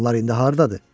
Onlar indi hardadır?